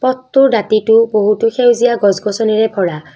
পথটোৰ দাঁতিটো বহুতো সেউজীয়া গছ গছনিৰে ভৰা।